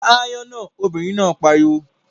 Pa aáyán náà, obìnrin náà pariwo!